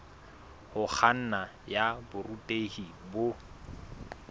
ho kganna ya borutehi bo